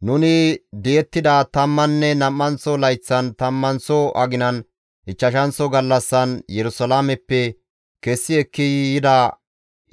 Nuni di7ettida tammanne nam7anththo layththan, tammanththo aginan, ichchashanththo gallassan, Yerusalaameppe kessi ekki yida